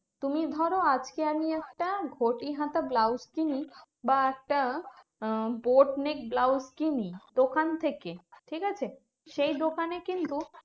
তুমি ধরো আজকে আমি একটা ঘটি হাতা ব্লউস কিনি বা একটা আহ বটনিক ব্লউস কিনি দোকান থেকে, ঠিকাছে? সেই দোকানে কিন্তু